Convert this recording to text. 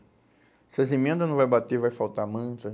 Se as emendas não vai bater, vai faltar manta.